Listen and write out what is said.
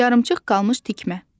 Yarımçıq qalmış tikmə.